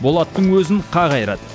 болаттың өзін қақ айырады